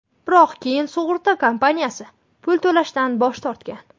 Biroq keyin sug‘urta kompaniyasi pul to‘lashdan bosh tortgan.